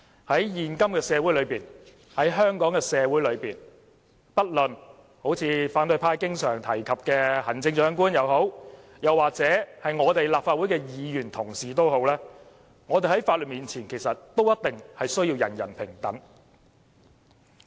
在現今的香港社會，不論是反對派經常提到的行政長官，抑或是立法會的議員同事，我們在法律面前也必定要人人平等。